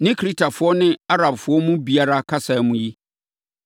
ne Kretafoɔ ne Arabfoɔ mu biara kasa mu yi?”